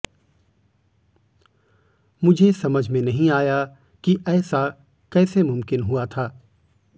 मुझे समझ में नहीं आया कि ऐसा कैसे मुमकिन हुआ था